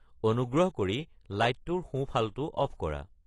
অনুগ্ৰহ কৰি লাইটটোৰ সোঁ ফালটো অফ কৰা